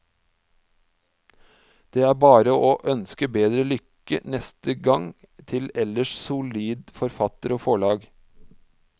Det er bare å ønske bedre lykke neste gang til ellers solid forfatter og forlag.